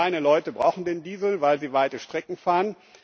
Viele kleine Leute brauchen den Diesel, weil sie weite Strecken fahren.